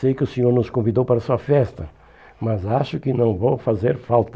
Sei que o senhor nos convidou para sua festa, mas acho que não vou fazer falta.